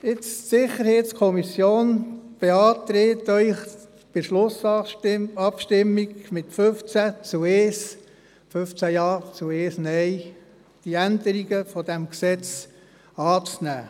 Die SiK beantragt Ihnen bei der Schlussabstimmung mit 15 Ja zu 1 Nein, die Änderungen dieses Gesetzes anzunehmen.